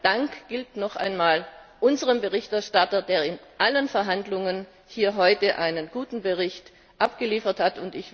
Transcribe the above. Mein Dank gilt noch einmal unserem Berichterstatter, der in allen Verhandlungen hier heute einen guten Bericht abgeliefert hat.